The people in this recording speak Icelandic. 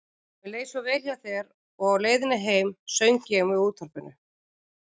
Mér leið svo vel hjá þér og á leiðinni heim söng ég með útvarpinu.